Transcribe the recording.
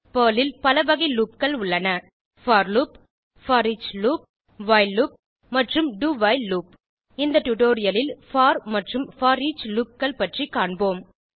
Perl ல் பல வகை loopகள் உள்ளன for loop foreach loop while loop do while loop இந்த டுடோரியலில் போர் மற்றும் போரிச் லூப் பற்றி காண்போம்